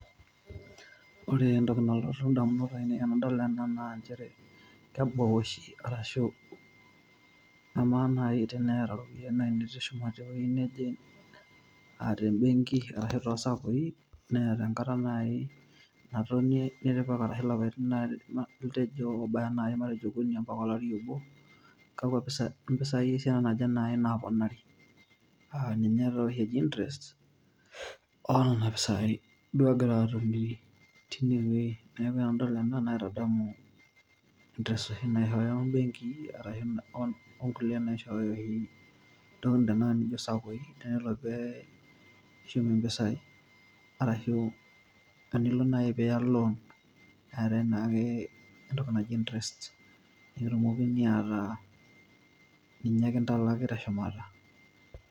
Ore entoki nalotu indamunot ainei tenadol ena nanchere kebau oshi arashu amaa naai teneeta iropiani naai nitushuma tewuei neje uh tembenki ashu tosakoi neeta enkata naai natonie nitipika arashi ilapaitin litejo obaya naai okuni ampaka olari obo kakwa pisa impisai esiana naje naai naponari uh ninye tooshi eji interest onana pisai duo egira atumie tinewuei neeku enadol ena naitadamu interest oshi naishooyo imbenkii arashu on onkulie naishooyo oshi intokitin tenakata ninjio isakoi tenelo pee ishum impisai arashu enilo naai piiya loan keetae naake entoki naji interest nikitumokini ataa ninye kintalaki teshumata.